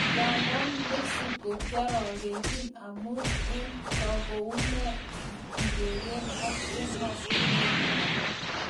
Ingandan Mexico kiorogenchin amun eng ne akoune ikeker ak emotunwek alak.